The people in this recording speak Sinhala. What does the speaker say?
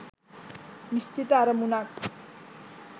නිශ්චිත අරමුණක්